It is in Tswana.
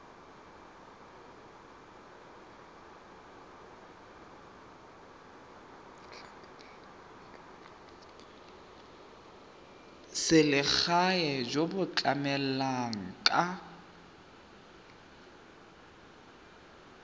selegae jo bo tlamelang ka